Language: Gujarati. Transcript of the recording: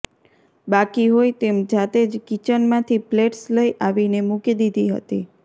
બાકી હોય તેમ જાતે જ કિચનમાંથી પ્લેટસ લઇ આવીને મૂકી દીધી હતી